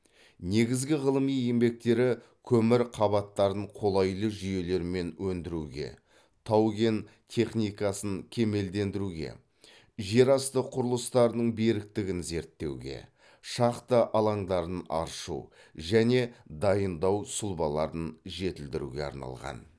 негізгі ғылыми еңбектері көмір қабаттарын қолайлы жүйелермен өндіруге тау кен техникасын кемелдендіруге жер асты құрылыстарының беріктігін зерттеуге шахта алаңдарын аршу және дайындау сұлбаларын жетілдіруге арналған